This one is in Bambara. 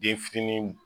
Den fitinin